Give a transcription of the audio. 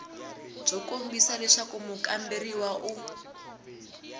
byo kombisa leswaku mukamberiwa u